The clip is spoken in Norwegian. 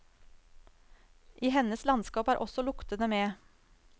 I hennes landskap er også luktene med.